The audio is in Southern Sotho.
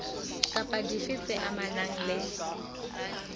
kapa dife tse amanang le